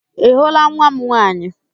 Ị hụla nwa m nwaanyị?